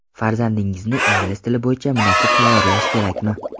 Farzandingizni ingliz tili bo‘yicha munosib tayyorlash kerakmi?